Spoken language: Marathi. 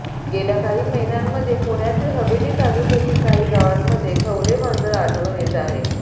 गेल्या काही महिन्यांमध्ये पुण्यातील हवेली तालुक्यातील काही गावांमध्ये खवले मांजर आढळून येत आहेत